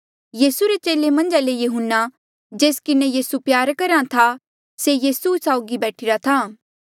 यीसू रे चेले मन्झा ले यहून्ना जेस किन्हें जे यीसू प्यार करहा था से यीसू साउगी बैठीरा था